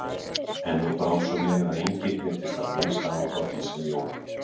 En nú brá svo við að enginn virtist hafa minnsta áhuga á því sem Jón